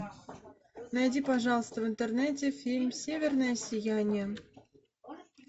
найди пожалуйста в интернете фильм северное сияние